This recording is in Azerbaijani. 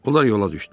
Onlar yola düşdülər.